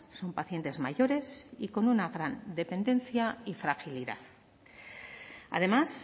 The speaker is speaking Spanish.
son pacientes mayores y con una gran dependencia y fragilidad además